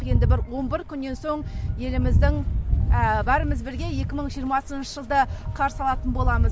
енді бір он бір күннен соң еліміздің бәріміз бірге екі мың жиырмасыншы жылды қарсы алатын боламыз